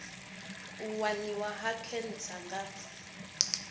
u waniwa ha khentsa nga